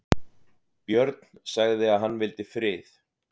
Björn sagði að hann vildi frið.